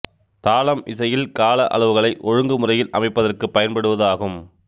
தாளம் இசையில் கால அளவுகளை ஒழுங்கு முறையில் அமைப்பதற்கு பயன்படுவது ஆகும்